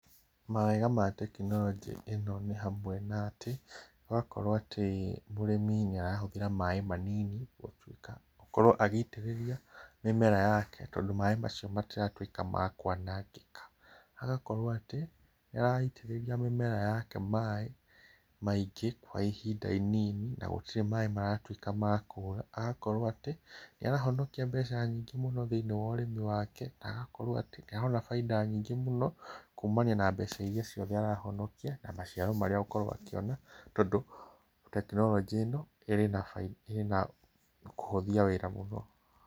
Mawega ma tekinoronjĩ ĩno nĩ hamwe na atĩ, ũgakora mũrĩmi nĩ arahũthĩra maaĩ manini gũkorwo agĩitĩrĩria mĩmera yake tondũ maaĩ macio matiratuĩka ma kwanangĩka. Hagagĩkorwo atĩ, nĩ araitĩrĩria mĩmera yake maaĩ maingĩ kwa ihinda inini na gũtirĩ maaĩ maratuĩka ma kũũra. Agakorwo atĩ nĩ arahonokia mbeca nyingĩ mũno thĩiniĩ wa ũrĩmi wake, na agakorwo atĩ nĩ arona bainda nene mũno kumania na mbeca iria ciothe arahonokia na maciaro maria agũkorwo akĩona, tondũ tekinoronjĩ ĩno ĩna kũhũthia wĩra mũno.